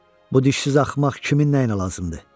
Bu dişsiz axmaq kimin nəyinə lazımdır?